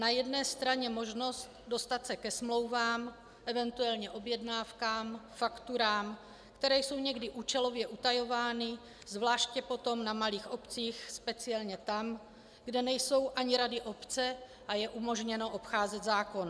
Na jedné straně možnost dostat se ke smlouvám, eventuálně objednávkám, fakturám, které jsou někdy účelově utajovány, zvláště potom na malých obcích, speciálně tam, kde nejsou ani rady obce a je umožněno obcházet zákon.